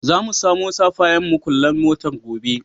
Za mu samo safayan muƙullan motar gobe.